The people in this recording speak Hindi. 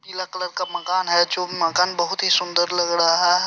पीला कलर का मकान है जो मकान बहुत ही सुंदर लग रहा है।